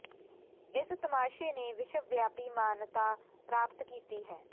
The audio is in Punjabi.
ਇਸ ਤਮਾਸ਼ੇ ਨੇ ਵਿਸ਼ਵ ਵਿਆਪੀ ਮਾਨਤਾ ਪ੍ਰਾਪਤ ਕੀਤੀ ਹੈ